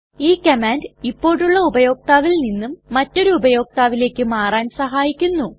ഈ കമാൻഡ് ഇപ്പോഴുള്ള ഉപയോക്താവിൽ നിന്നും മറ്റൊരു ഉപയോക്താവിലെക്ക് മാറാൻ സഹായിക്കുന്നു